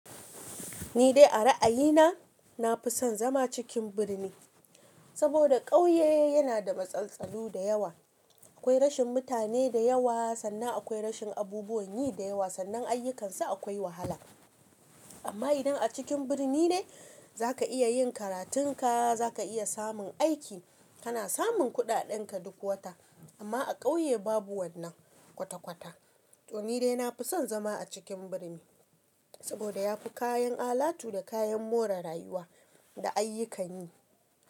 Ni dai a ra'ayina, na fi son zama cikin birni saboda ƙauye yana da matsaltsalu da yawa. Akwai rashin mutane da yawa sannan akwai rashin abubuwan yi da yawa sannan ayyukansu akwai wahala. Amma idan a cikin birni ne za ka iya yin karatunka, za ka iya samun aiki, kana samun kuɗaɗenka duk wata. Amma a ƙauye babu wannan kwata-kwata. To ni dai na fi son zama a cikin birni saboda yafi kayan alatu da kayan more rayuwa da ayyukan yi.